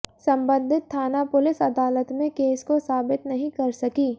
संबंधित थाना पुलिस अदालत में केस को साबित नहीं कर सकी